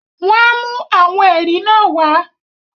wọ́n á mú “àwọn ẹ̀rí” náà wá.